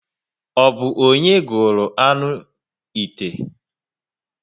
O bu onye gụrụ aṅụ 'ite?